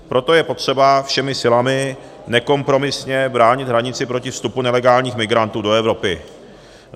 Proto je potřeba všemi silami nekompromisně bránit hranici proti vstupu nelegálních migrantů do Evropy.